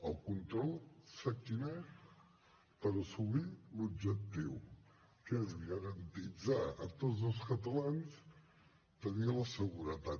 el control sap quin és per assolir l’objectiu que és garantir a tots els catalans tenir la seguretat